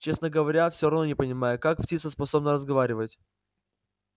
честно говоря все равно не понимаю как птица способна разговаривать